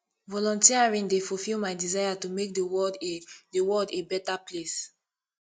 volunteering dey fulfill my desire to make the world a the world a better place